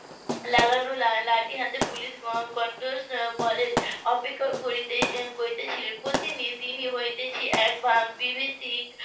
লাগানো লাঠি হাতে পুলিশ . বলের অপেক্ষা করছিলেন প্রতিদিন হতে .